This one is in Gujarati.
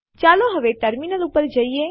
ચાલો હવે ટર્મિનલ ઉપર જઈએ